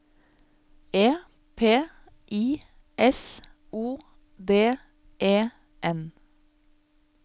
E P I S O D E N